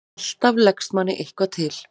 Alltaf leggst manni eitthvað til.